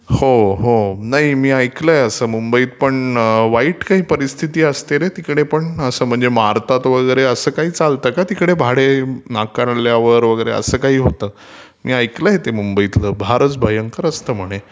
हो हो नाही मी ऐकलयं असं मुंबईतपण वाईट काही परीस्थिती असते रे तिकडे पण असं म्हणजे मारतात वगैरे असलं सगळं काही चालतं का तिकडे भाडे नाकारल्यावर वगैरे असं काही होतं....मी ऐकलय ते मुंबईतल...फारचं भयंकर असतं म्हणे...